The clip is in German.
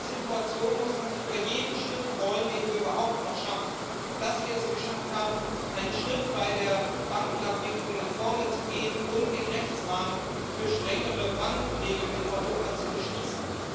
In dieser Situation muss man sich über jeden Schritt freuen, den wir überhaupt noch schaffen dass wir es geschafft haben, einen Schritt bei der Bankenabwicklung nach vorne zu gehen und den Rechtsrahmen für strengere Bankenregeln in Europa zu beschließen.